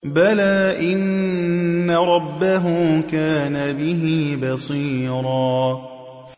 بَلَىٰ إِنَّ رَبَّهُ كَانَ بِهِ بَصِيرًا